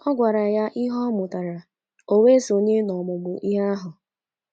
Ọ gwara ya ihe ọ mụtara, o wee sonye n’ọmụmụ ihe ahụ.